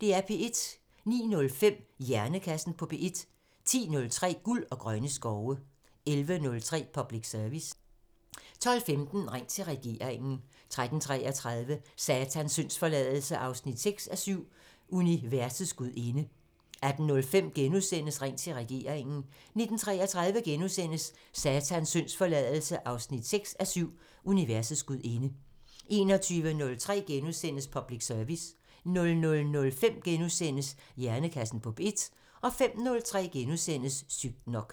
09:05: Hjernekassen på P1 10:03: Guld og grønne skove 11:03: Public Service 12:15: Ring til regeringen 13:33: Satans syndsforladelse 6:7 – Universets gudinde 18:05: Ring til regeringen * 19:33: Satans syndsforladelse 6:7 – Universets gudinde * 21:03: Public Service * 00:05: Hjernekassen på P1 * 05:03: Sygt nok *